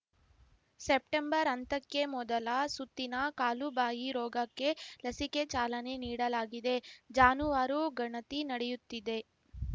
September ಅಂತಕ್ಕೆ ಮೊದಲ ಸುತ್ತಿನ ಕಾಲುಬಾಯಿ ರೋಗಕ್ಕೆ ಲಸಿಕೆ ಚಾಲನೆ ನೀಡಲಾಗಿದೆ ಜಾನುವಾರು ಗಣತಿ ನಡೆಯುತ್ತಿದೆ